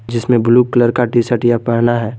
जिसमें blue colour का T shirt यह पहना है।